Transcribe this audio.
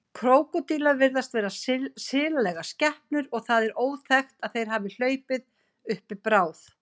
Krókódílar virðast vera silalegar skepnur og það er óþekkt að þeir hafi hlaupið uppi bráð.